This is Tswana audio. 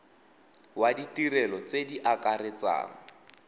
wa ditirelo tse di akaretsang